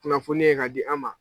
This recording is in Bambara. Kunnafoni ye ka di an ma